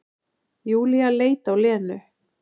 Júlía leit á Lenu.